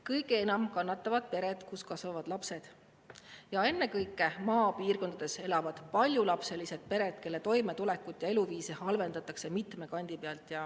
Kõige enam kannatavad pered, kus kasvavad lapsed, ennekõike maapiirkondades elavad paljulapselised pered, kelle toimetulekut ja eluviisi halvendatakse mitme kandi pealt.